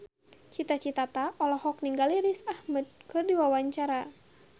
Cita Citata olohok ningali Riz Ahmed keur diwawancara